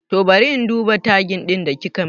Toh bari in duba tagin ɗin da kikamin